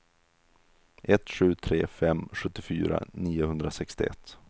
ett sju tre fem sjuttiofyra niohundrasextioett